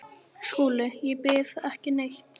SKÚLI: Ég býð ekki neitt.